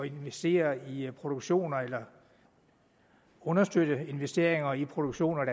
investere i produktioner eller understøtte investeringer i produktioner